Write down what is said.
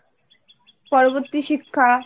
পরবর্তী শিক্ষা।